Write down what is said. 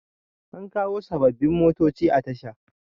an kawo sababbin motoci a Tasha